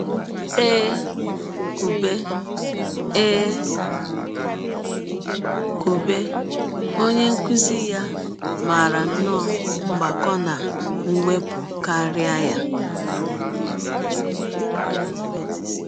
E kwụbe E kwụbe, onye nkụzi ya maara nnọọ mgbakọ na mwepụ karịa ya.